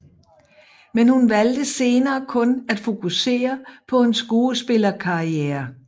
Men hun valgte senere kun at fokusere på en skuespillerkarriere